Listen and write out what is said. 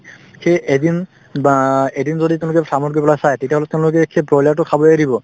সেই এদিন বা এদিন যদি তুমি গৈ farm ত গৈ পেলাই চাই তেতিয়াহলে তেওঁলোকে সেই broiler তো খাবলৈ এৰিব